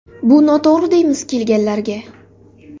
Bu noto‘g‘ri deymiz kelganlarga.